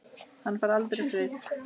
Hann fær aldrei frið.